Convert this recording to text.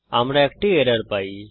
আমরা একটি এরর পাই